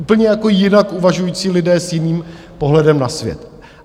Úplně jako jinak uvažující lidé s jiným pohledem na svět.